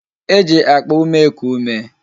E ji akpa ume eku ume